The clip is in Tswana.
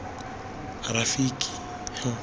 rafiki